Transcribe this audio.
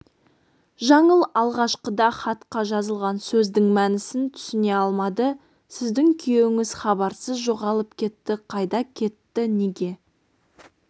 жаңыл алғашқыда хатқа жазылған сөздің мәнісін түсіне алмады сіздің күйеуіңіз хабарсыз жоғалып кетті қайда кетті неге